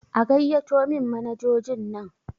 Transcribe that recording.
A gaiyato min manajojin nan!